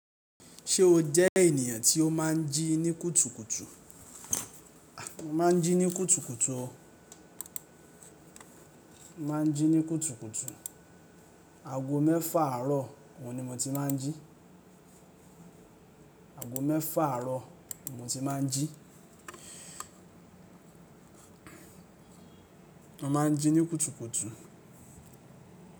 Ṣé o jẹ́ ènìyàn tí ó máa ń jí ní kùtùkùtù? Máa ń jí ní kùtùkùtù o. Máa ń jí ní kùtùkùtù. Ago mẹ́fà àárọ̀ oun ní mo ti máa ń jí. Ago mẹ́fà àárọ̀ mo ti máa ń jí. Mo máa ń jí ní kùtùkùtù.